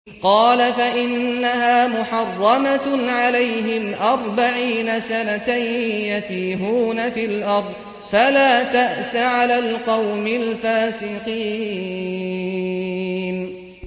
قَالَ فَإِنَّهَا مُحَرَّمَةٌ عَلَيْهِمْ ۛ أَرْبَعِينَ سَنَةً ۛ يَتِيهُونَ فِي الْأَرْضِ ۚ فَلَا تَأْسَ عَلَى الْقَوْمِ الْفَاسِقِينَ